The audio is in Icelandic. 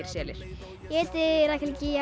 selir ég heiti Rakel